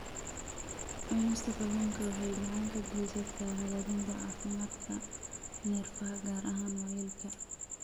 Cunista kalluunka waxay gacan ka geysataa hagaajinta caafimaadka neerfaha, gaar ahaan waayeelka.